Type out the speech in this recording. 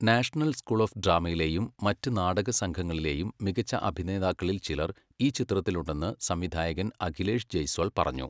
National school of ഡ്രാമയിലെയും മറ്റ് നാടകസംഘങ്ങളിലെയും മികച്ച അഭിനേതാക്കളിൽ ചിലർ ഈ ചിത്രത്തിലുണ്ടെന്ന് സംവിധായകൻ അഖിലേഷ് ജയ്സ്വാൾ പറഞ്ഞു.